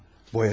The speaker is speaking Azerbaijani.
Nə yəni?